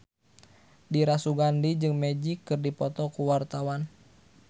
Dira Sugandi jeung Magic keur dipoto ku wartawan